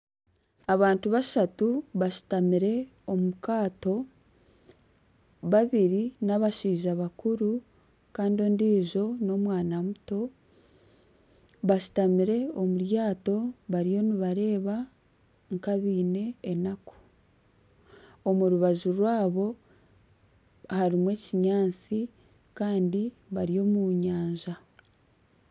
Abashaija bashatu bashutamire omu kaato. Babiri n'abashaija bakuru kandi ondiijo n'omwana muto. Bashutamire omu ryato bariyo nibareeba nk'abeine enaku. Omu rubaju rwabo harimu ekinyaatsi kandi bari omu nyanja.